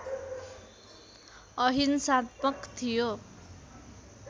अहिंसात्मक थियो